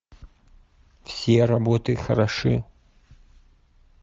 все работы хороши